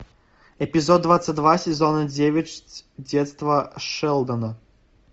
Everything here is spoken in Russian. эпизод двадцать два сезона девять детство шелдона